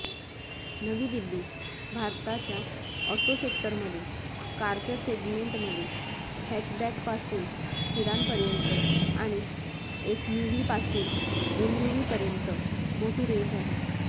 नवी दिल्लीः भारताच्या ऑटो सेक्टरमध्ये कारच्या सेगमेंटमध्ये हॅचबॅकपासून सिडानपर्यंत आणि एसयूव्हीपासून एमयूव्हीपर्यंत मोठी रेंज आहे